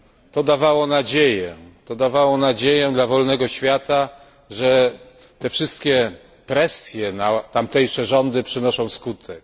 To dawało nadzieję, to dawało nadzieję dla wolnego świata, że te wszystkie presje na tamtejsze rządy przynoszą skutek.